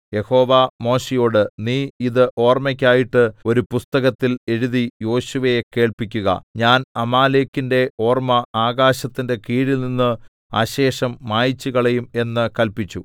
യഹോവ മോശെയോട് നീ ഇത് ഓർമ്മയ്ക്കായിട്ട് ഒരു പുസ്തകത്തിൽ എഴുതി യോശുവയെ കേൾപ്പിക്കുക ഞാൻ അമാലേക്കിന്റെ ഓർമ്മ ആകാശത്തിന്റെ കീഴിൽനിന്ന് അശേഷം മായിച്ചുകളയും എന്ന് കല്പിച്ചു